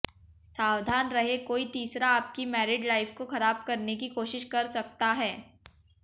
सावधान रहे कोई तीसरा आपकी मैरिड लाइफ को खराब करने की कोशिश कर सकता है